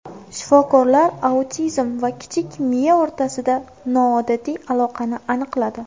Shifokorlar autizm va kichik miya o‘rtasida noodatiy aloqani aniqladi.